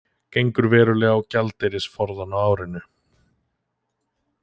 Gengur verulega á gjaldeyrisforðann á árinu